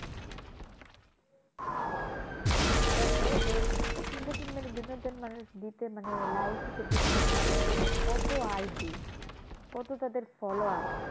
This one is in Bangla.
দেখো যে entertainment বিনোদন মানে দিতে মানে life ঠিক থাকে মানে মানে কত ID কত তাদের follower,